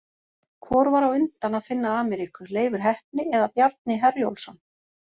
Hvor var á undan að finna Ameríku, Leifur heppni eða Bjarni Herjólfsson?